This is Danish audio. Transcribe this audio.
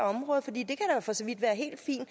at for så vidt være helt fint